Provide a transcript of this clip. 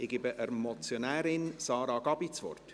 Ich gebe der Motionärin Sarah Gabi das Wort.